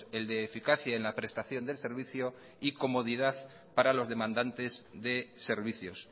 el de eficacia en la prestación del servicio y comodidad para los demandantes de servicios